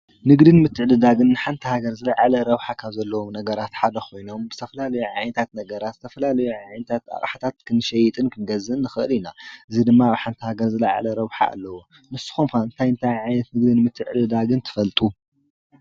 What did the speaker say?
ንግድን ምትዕድዳግን ንሓንቲ ሃገር ዝለዓለ ረብሓ ካብ ዘለዎም ነጋራት ሓደ ኮይኖም ዝተፈላለዩ ዓይነታት ነገራት ዝተፈላለዩ ዓይነታት ኣቅሓታት ክንሸይጥን ክንገዝእን ንክእል ኢና እዚ ድማ አብ ሃገር ዝለዓለ ረብሓ ኣለዎ። ንስኹም ከ እንታይ እንታይ ዓይነት ንግድን ምትዕድዳግን ትፈልጡ?